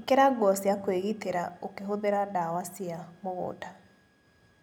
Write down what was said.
ĩkĩra nguo cia kwĩgitĩra ũkĩhũthĩra ndawa cia mũgunda.